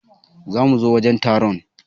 Za mu zo wajen taron.